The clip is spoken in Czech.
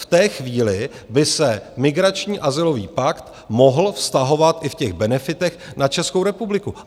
V té chvíli by se migrační azylový pakt mohl vztahovat i v těch benefitech na Českou republiku.